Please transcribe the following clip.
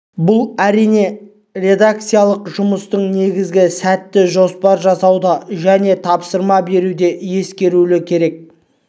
бұл әрине редакциялық жұмыстың негізгі сәті жоспар жасауда және тапсырма беруде ескерілуі керек